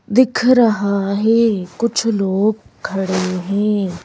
दिख रहा है कुछ लोग खड़े हैं।